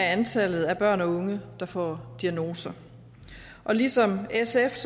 i antallet af børn og unge der får diagnoser og ligesom sf